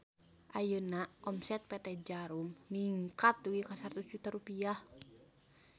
Ayeuna omset PT Djarum ningkat dugi ka 100 juta rupiah